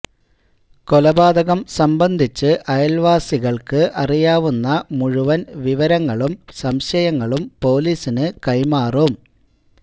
കൊലപാതകം സംബന്ധിച്ച് അയല്വാസികള്ക്ക് അറിയാവുന്ന മുഴുവന് വിവരങ്ങളും സംശയങ്ങളും പൊലീസിനു കൈമാറും